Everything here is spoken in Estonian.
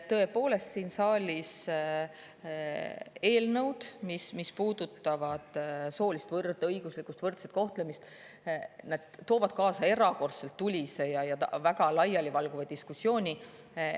Tõepoolest, eelnõud, mis puudutavad soolist võrdõiguslikkust või võrdset kohtlemist, toovad siin saalis kaasa erakordselt tulise ja väga laialivalguva diskussiooni.